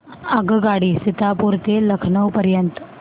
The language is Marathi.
आगगाडी सीतापुर ते लखनौ पर्यंत